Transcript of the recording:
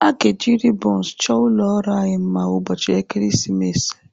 A ga-eji ribons chọọ ụlọ ọrụ anyị mma ụbọchị ekeresimesi a.